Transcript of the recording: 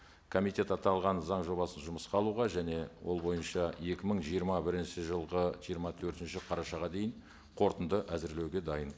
комитет аталған заң жобасын жұмысқа алуға және ол бойынша екі мың жиырма бірінші жылғы жиырма төртінші қарашаға дейін қорытынды әзірлеуге дайын